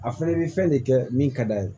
A fɛnɛ bɛ fɛn de kɛ min ka d'a ye